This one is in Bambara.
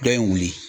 Dɔ ye wuli